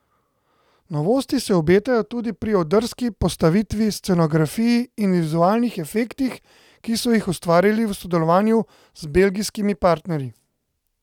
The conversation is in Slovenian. Novosti se obetajo tudi pri odrski postavitvi, scenografiji in vizualnih efektih, ki so jih ustvarili v sodelovanju z belgijskimi partnerji.